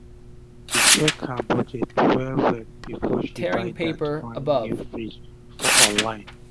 she check her budget well well before she buy dat fine um new fridge for online um